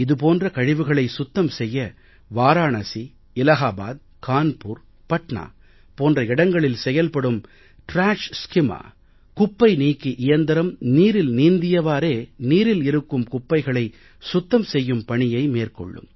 இது போன்ற கழிவுகளை சுத்தம் செய்ய வாராணசி இலாஹாபாத் கான்பூர் பட்னா போன்ற இடங்களில் செயல்படும் டிராஷ் ஸ்கிம்மர் குப்பை நீக்கி இயந்திரம் நீரில் நீந்தியவாறே நீரில் இருக்கும் குப்பைகளை சுத்தம் செய்யும் பணியை மேற்கொள்ளும்